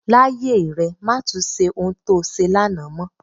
Láyé rẹ, má tun ṣe ohun to ṣe lánàá mọ.